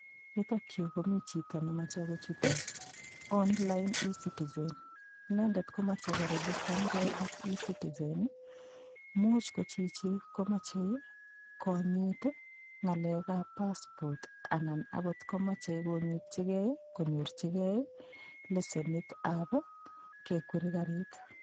Yutokyu komi chito nemochei kochut online ecitizen inendet komochei koregistangei ak ecitizen muuch ko chichi komochei konyit ng'alekab passport anan akotkomochei konyitchikei konyorchigei lesenitab kekweri karit